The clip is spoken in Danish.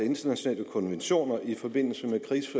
internationale konventioner i forbindelse